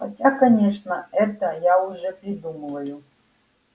хотя конечно это я уже придумываю